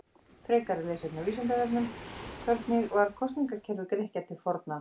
Frekara lesefni á Vísindavefnum: Hvernig var kosningakerfi Grikkja til forna?